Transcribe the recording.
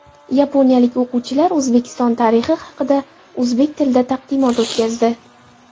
Yaponiyalik o‘quvchilar O‘zbekiston tarixi haqida o‘zbek tilida taqdimot o‘tkazdi.